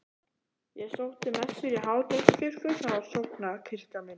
Ég sótti messur í Háteigskirkju sem var sóknarkirkjan mín.